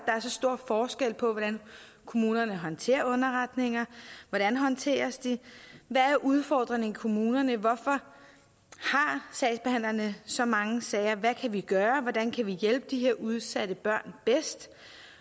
så stor forskel på hvordan kommunerne håndterer underretninger hvordan håndteres de hvad er udfordringerne i kommunerne hvorfor har sagsbehandlerne så mange sager hvad kan vi gøre hvordan kan vi hjælpe de her udsatte børn bedst